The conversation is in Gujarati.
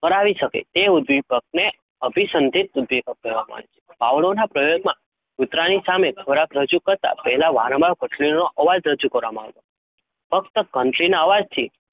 કરાવી શકે, તેઓ દીપક ને અભિસંધિત દીપક કેહવમાં આવે છે? ભવલાઓ ના પ્રયોગો માં ખોરાક રજૂ કરતાં પહેલાં વારંવાર ભક્રીનો અવાજ રજૂ કરવામા આવતો ફ્કત કટ્રિં ના અવાજ થી,